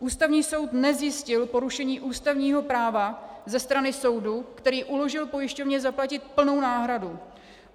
Ústavní soud nezjistil porušení ústavního práva ze strany soudu, který uložil pojišťovně zaplatit plnou náhradu.